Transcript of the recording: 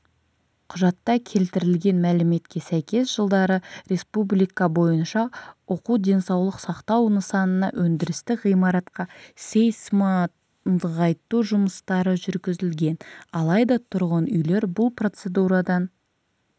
құжатта келтірілген мәліметке сәйкес жылдары республика бойынша оқу денсаулық сақтау нысанына өндірістік ғимаратқа сейсмонығайту жұмыстары жүргізілген алайда тұрғын үйлер бұл процедурадан